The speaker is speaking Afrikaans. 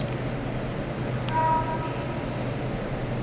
program ses persent